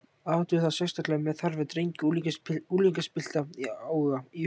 Athuga það sérstaklega með þarfir drengja og unglingspilta í huga.